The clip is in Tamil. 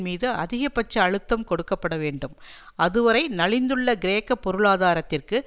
மீது அதிகபட்ச அழுத்தம் கொடுக்க பட வேண்டும் அதுவரை நலிந்துள்ள கிரேக்க பொருளாதாரத்திற்கு